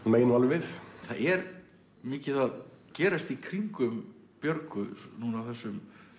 megi nú alveg við það er mikið að gerast í kringum Björgu núna á þessum